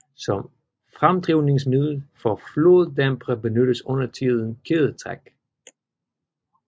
Som fremdrivningsmiddel for floddampere benyttes undertiden kædetræk